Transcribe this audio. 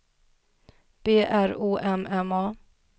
B R O M M A